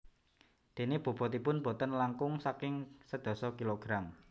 Déné bobotipun boten langkung saking sedasa kilogram